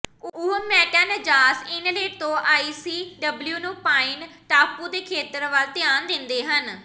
ਉਹ Matanzas inlet ਤੋਂ IC W ਨੂੰ ਪਾਈਨ ਟਾਪੂ ਦੇ ਖੇਤਰ ਵੱਲ ਧਿਆਨ ਦਿੰਦੇ ਹਨ